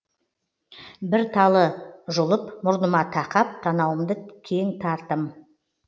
бір талы жұлып мұрныма тақап танауымды кең тартым